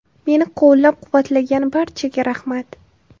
Meni qo‘llab-quvvatlagan barchaga rahmat.